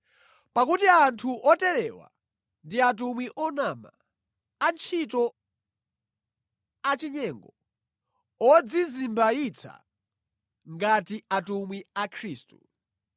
Pakuti anthu oterewa ndi atumwi onama, antchito achinyengo, odzizimbayitsa ngati atumwi a Khristu.